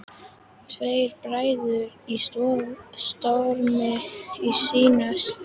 Tveir bræður í stormi sinnar tíðar.